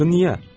Axı niyə?